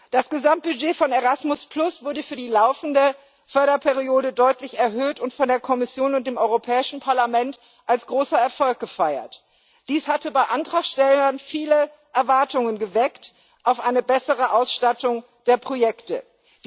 Das Gesamtbudget von Erasmus wurde für die laufende Förderperiode deutlich erhöht und von der Kommission und dem Europäischen Parlament als großer Erfolg gefeiert. Dies hatte bei Antragstellern viele Erwartungen auf eine bessere Ausstattung der Projekte geweckt.